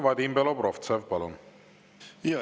Vadim Belobrovtsev, palun!